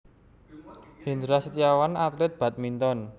Hendra Setiawan atlet badminton